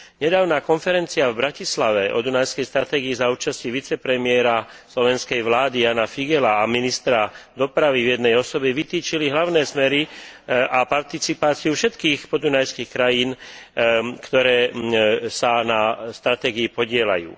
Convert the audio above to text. Nedávna konferencia v Bratislave o dunajskej stratégii za účasti vicepremiéra slovenskej vlády Jána Figeľa a ministra dopravy v jednej osobe vytýčila hlavné smery a participáciu všetkých podunajských krajín, ktoré sa na stratégii podieľajú.